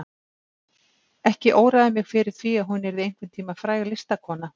Ekki óraði mig fyrir því að hún yrði einhvern tíma fræg listakona.